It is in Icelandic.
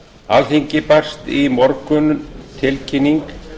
alþingi barst í morgun tilkynning